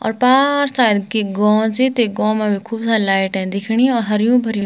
और पार सायद की गों च ते गों मा भी खूब सारी लाइटे दिखणि और हर्युं-भर्युं --